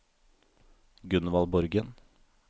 Gunvald Borgen